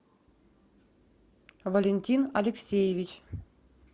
валентин алексеевич